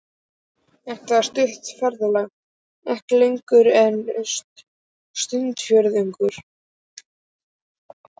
Þetta var stutt ferðalag, ekki lengra en stundarfjórðungur.